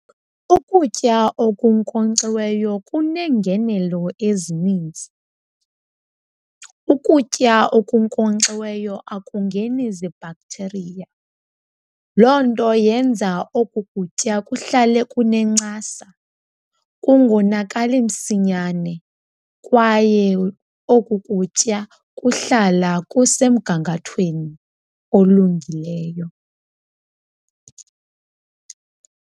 Ukutya okunkonkxiweyo kuneengenelo ezininzi. Ukutya okunkonkxiweyo akungeni zibhakthiriya. Loo nto yenza oku kutya kuhlale kunencasa, kungonakali msinyane kwaye oku kutya kuhlala kusemgangathweni olungileyo.